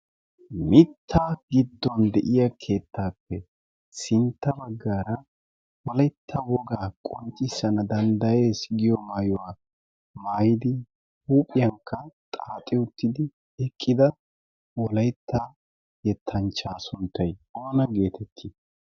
mitta giddon de7iya keettaappe sintta baggaara woalytta wogaa qonccissana danddayees giyo maayuwaa maayidi huuphiyaakka xaaxi uttidi eqqida wolaytta yettanchchaa sunttay oona geetettii?